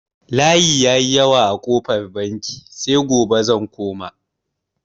Layi ya yi yawa a kofar banki, sai gobe zan koma.